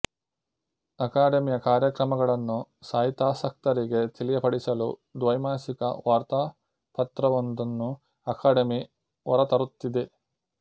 ಅಕಾಡೆಮಿಯ ಕಾರ್ಯಕ್ರಮಗಳನ್ನು ಸಾಹಿತ್ಯಾಸಕ್ತರಿಗೆ ತಿಳಿಯಪಡಿಸಲು ದ್ವೈಮಾಸಿಕ ವಾರ್ತಾಪತ್ರವೊಂದನ್ನು ಅಕಾಡೆಮಿ ಹೊರತರುತ್ತಿದೆ